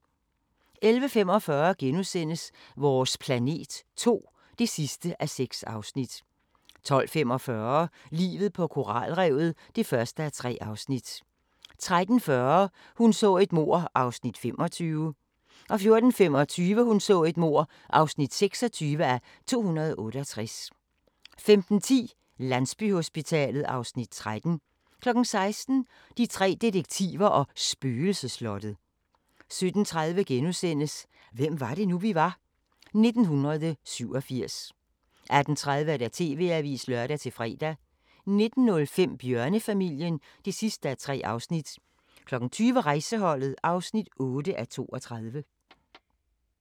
11:45: Vores planet 2 (6:6)* 12:45: Livet på koralrevet (1:3) 13:40: Hun så et mord (25:268) 14:25: Hun så et mord (26:268) 15:10: Landsbyhospitalet (Afs. 13) 16:00: De tre detektiver og Spøgelsesslottet 17:30: Hvem var det nu, vi var? - 1987 * 18:30: TV-avisen (lør-fre) 19:05: Bjørnefamilien (3:3) 20:00: Rejseholdet (8:32)